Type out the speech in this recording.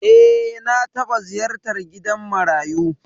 Eh, na taɓa ziyartar gidan marayu.